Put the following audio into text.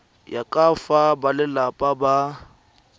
ya ka fa balelapa ba